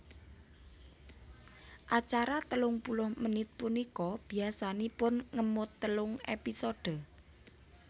Acara telung puluh menit punika biasanipun ngemot telung épisode